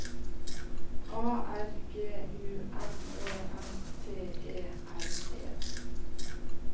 A R G U M E N T E R E